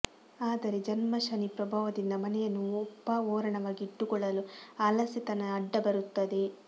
ಆದರೆ ಜನ್ಮ ಶನಿ ಪ್ರಭಾವದಿಂದ ಮನೆಯನ್ನು ಒಪ್ಪ ಓರಣವಾಗಿ ಇಟ್ಟುಕೊಳ್ಳಲು ಆಲಸ್ಯತನ ಅಡ್ಡ ಬರುತ್ತದೆ